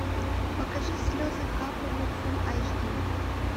покажи слезы капали фулл айч ди